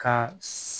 Ka